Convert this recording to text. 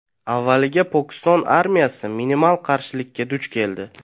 Avvaliga Pokiston armiyasi minimal qarshilikka duch keldi.